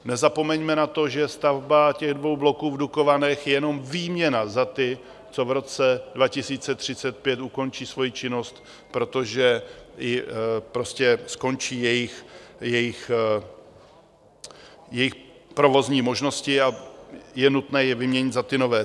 Nezapomeňme na to, že stavba těch dvou bloků v Dukovanech je jenom výměna za ty, co v roce 2035 ukončí svoji činnost, protože skončí jejich provozní možnosti a je nutné je vyměnit za ty nové.